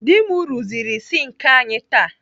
Dị m rụziri sinki anyị taa.